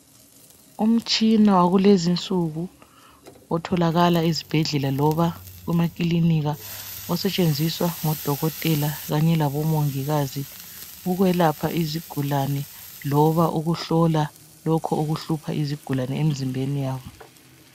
Umtshina wakulezi insuku otholakala ezibhedlela loba kumakilinika osetshenziswa ngodokotela kanye labo mongikazi. Ukwelapha izigulane loba ukuhlola lokho okuhlupha izigulane emzimbeni yabo.